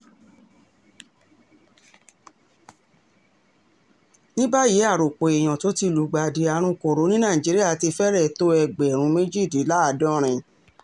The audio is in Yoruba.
ní báyìí àròpọ̀ èèyàn tó ti lùgbàdì àrùn kọ̀rọ̀ ní nàìjíríà ti fẹ́rẹ̀ tó ẹgbẹ̀rún méjìdínláàádọ́rin